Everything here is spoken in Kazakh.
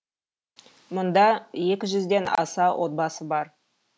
мұнда екі жүзден аса отбасы бар